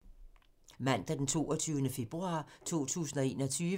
Mandag d. 22. februar 2021